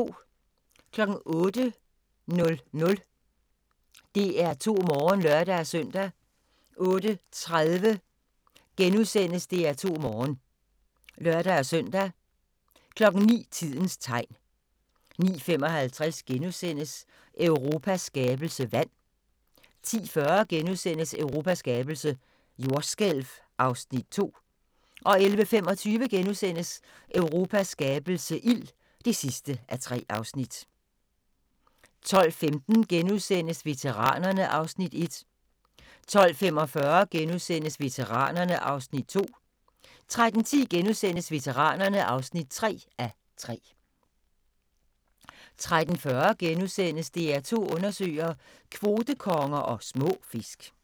08:00: DR2 Morgen (lør-søn) 08:30: DR2 Morgen *(lør-søn) 09:00: Tidens tegn 09:55: Europas skabelse - vand (1:3)* 10:40: Europas skabelse - jordskælv (2:3)* 11:25: Europas skabelse - ild (3:3)* 12:15: Veteranerne (1:3)* 12:45: Veteranerne (2:3)* 13:10: Veteranerne (3:3)* 13:40: DR2 Undersøger: Kvotekonger og små fisk *